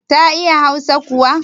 Ta iya hausa kuwa?